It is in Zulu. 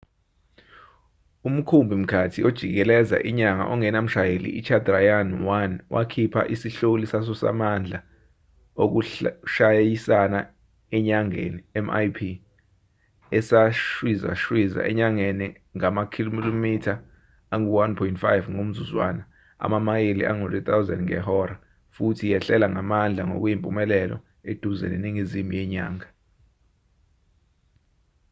umkhumbi-mkhathi ojikeleza inyanga ongenamshayeli ichandrayaan-1 wakhipha isihloli saso samandla okushayisana enyangeni mip esashwizashwiza enyangeni ngamakhilomitha angu-1.5 ngomzuzwana amamayeli angu-3000 ngehora futhi yehlela ngamandla ngokuyimpumelelo eduze neningizimu yenyanga